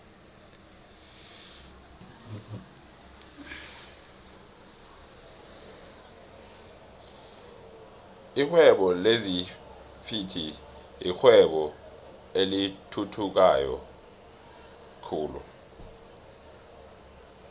lihwebo lezinfhvthi yirwebo elithuthukayo flhe